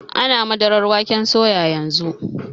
Ana madarar waken soya yanzu.